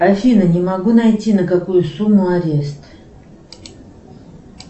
афина не могу найти на какую сумму арест